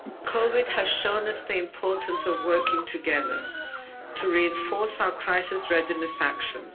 COVID has shown us the importance of working together to reinforce our crisis readiness actions.